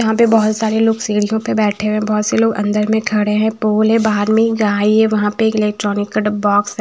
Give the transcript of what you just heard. यहां पे बहोत सारे लोग सीढ़ियों पे बैठे हुए हैं। बहोत से लोग अंदर में खड़े हैं पोल है बाहर में गाय है वहां पे एक इलेक्ट्रॉनिक का डब्ब बॉक्स है।